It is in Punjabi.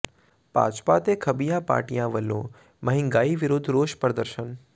ਭਾਜਪਾ ਤੇ ਖੱਬੀਆਂ ਪਾਰਟੀਆਂ ਵੱਲੋਂ ਮਹਿੰਗਾਈ ਵਿਰੁੱਧ ਰੋਸ ਪ੍ਰਦਰਸ਼ਨ